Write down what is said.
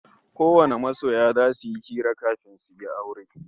Kowane masoya zasu yi hira kafin aure